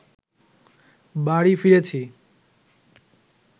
বাড়ি ফিরেছি